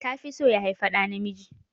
Ta fi so ya haifi ɗa namiji